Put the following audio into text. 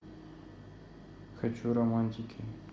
хочу романтики